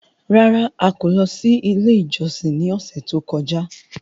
Rárá! A kò lọ sí ilé ìjọsìn ní ọ̀sẹ̀ tó kọjá.